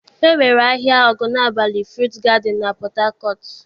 E nwere ahịa Ogunabali Fruit Garden na Port Harcourt.